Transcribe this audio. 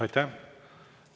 Aitäh!